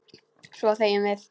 Svo þegjum við.